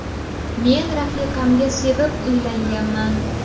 Men rafiqamga sevib uylanganman.